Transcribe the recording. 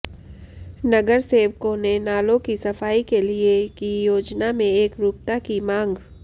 नगरसेवकों ने नालों की सफाई के लिए की योजना में एकरूपता की मांग